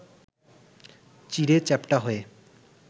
চিঁড়ে চ্যাপ্টা হয়ে